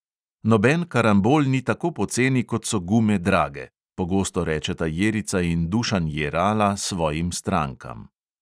"Noben karambol ni tako poceni, kot so gume drage," pogosto rečeta jerica in dušan jerala svojim strankam.